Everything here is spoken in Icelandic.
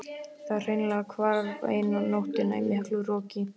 Það hreinlega hvarf eina nóttina í miklu roki.